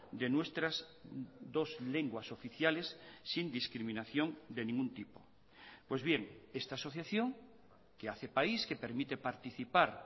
de nuestras dos lenguas oficiales sin discriminación de ningún tipo pues bien esta asociación que hace país que permite participar